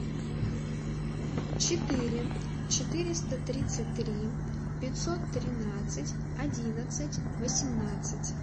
четыре четыреста тридцать три пятьсот тринадцать одиннадцать восемнадцать